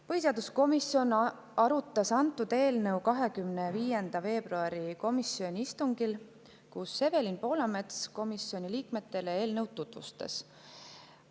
Põhiseaduskomisjon arutas antud eelnõu 25. veebruari komisjoni istungil, kus Evelin Poolamets eelnõu komisjoni liikmetele tutvustas.